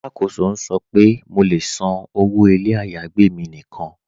Alákóso n sọ̀ pe mó lè ṣán ọwọ́ ilẹ̀ ayágbẹ̀ mi níkan.